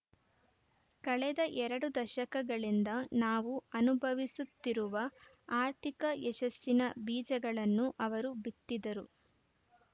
ಕಳೆದ ಎರಡು ದಶಕಗಳಿಂದ ನಾವು ಅನುಭವಿಸುತ್ತಿರುವ ಆರ್ಥಿಕ ಯಶಸ್ಸಿನ ಬೀಜಗಳನ್ನು ಅವರು ಬಿತ್ತಿದ್ದರು